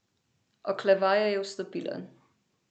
Oklevaje je vstopila.